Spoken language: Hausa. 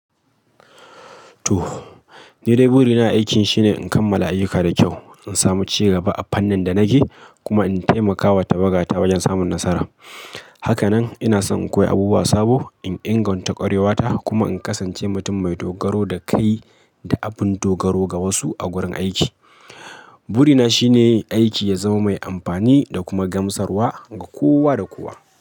To, ni dai burina na a aiki shine in kammala ayyuka da kyau, in samu ci gaba a fannin da nake, kuma in taimakawa tawaga ta wajen samun nasara. Haka nan ina son in koyi abubuwa sabo, in inganta ƙwarewata kuma in kasance mutum mai dogaro da kai da abin dogaro ga wasu a wurin aiki. Burina shine aiki ya zama mai amfani da kuma gamsarwa ga kowa da kowa.